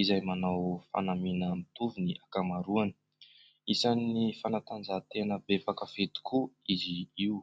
izay manao fanamiana mitovy ny ankamaroany. Isan'ny fanatanjahantena be mpakafy tokoa izy io.